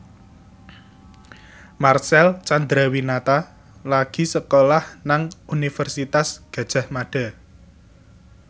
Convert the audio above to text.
Marcel Chandrawinata lagi sekolah nang Universitas Gadjah Mada